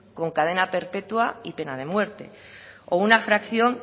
con cadena perpetua y pena de muerte o una fracción